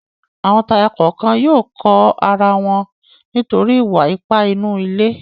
Àwọn tọkọtaya kọ̀ọ̀kan yóò kọ ara wọn nítorí ìwà-ipá inú ilé.